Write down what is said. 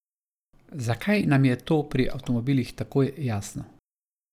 Zakaj nam je to pri avtomobilih takoj jasno?